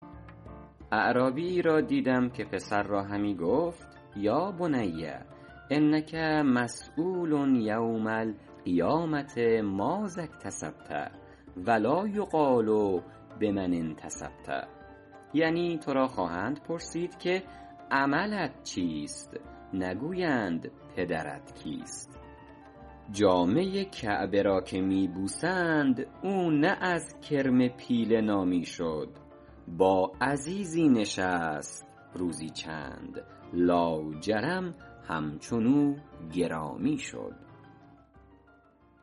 اعرابیی را دیدم که پسر را همی گفت یا بنی انک مسیول یوم القیامة ماذا اکتسبت و لا یقال بمن انتسبت یعنی تو را خواهند پرسید که عملت چیست نگویند پدرت کیست جامه کعبه را که می بوسند او نه از کرم پیله نامی شد با عزیزی نشست روزی چند لاجرم همچنو گرامی شد